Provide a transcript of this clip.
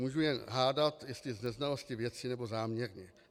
Můžu jen hádat, jestli z neznalosti věci, nebo záměrně.